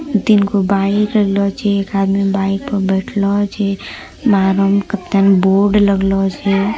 तीन गो बाईक रहलो जी एक आदमी बाईक पर बैठलो जी बोर्ड लगलो जी।